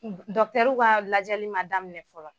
Dɔtɛriw ka lajɛli ma daminɛ fɔlɔ.